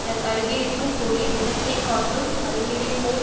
தன் அருகே இருக்கும் பொருளின் நிறத்தை காட்டும் பளிங்கினை போல்